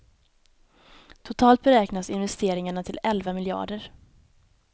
Totalt beräknas investeringarna till elva miljarder.